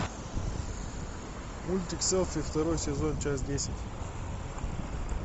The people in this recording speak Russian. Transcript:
мультик селфи второй сезон часть десять